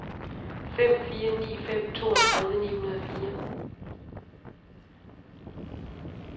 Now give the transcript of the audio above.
fem fire ni fem toogtredive ni hundrede og fire